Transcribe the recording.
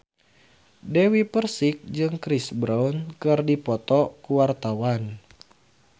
Dewi Persik jeung Chris Brown keur dipoto ku wartawan